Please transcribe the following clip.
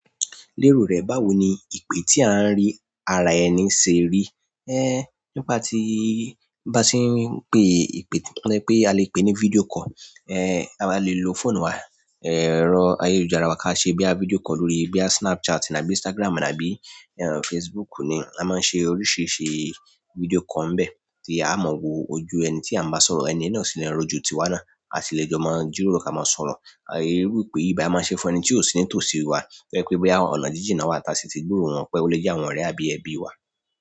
Lérò rẹ̀, báwo ni ìpè tí á ń rí ara ẹni ṣe rí? Eh, nígbà tí, bá ṣe ń pè ìpè tí o je pé a lè pè ní fídíò call, eh, a wá lè lo fóònù wa, eró ayélujára wa ká ṣe boyà fídíò call lórí boyà Snapchat nabí Instagram nábí, eh, Facebook ni. A má ṣe oríṣìíríṣìí fídíò call nbẹ́ tí a mọ̀ wó ojú ẹni tí a bá sọ̀rọ̀, ẹni náà sì lè ròju tiwa náà, a sì lè jọ máa jíròrò ká máa sọ̀rọ̀. Àìwò pé but á máa ṣe fún ẹni tí ò sí nítòsí wa, to jẹ́ pé boya ọ̀nà jíjìn náà wà tí a sì ti gburò wọ́n pẹ́, ó lè je àwọn ọ̀rẹ́ àbí ẹbí wa.